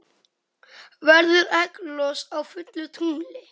Verður egglos á fullu tungli?